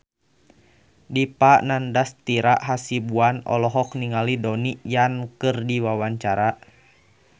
Dipa Nandastyra Hasibuan olohok ningali Donnie Yan keur diwawancara